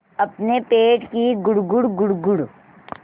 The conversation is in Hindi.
अपने पेट की गुड़गुड़ गुड़गुड़